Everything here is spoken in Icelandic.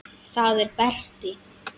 Það er Berti.